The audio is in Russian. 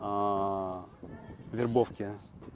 вербовке